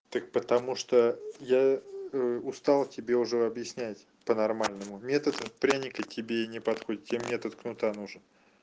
так потому что я устал тебе уже объяснять по-нормальному метод пряника тебе не подходит тебе метод кнута нужен